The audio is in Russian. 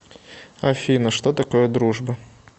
афина что такое дружба